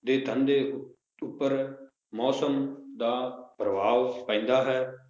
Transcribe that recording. ਦੇ ਧੰਦੇ ਉੱਪਰ ਮੌਸਮ ਦਾ ਪ੍ਰਭਾਵ ਪੈਂਦਾ ਹੈ?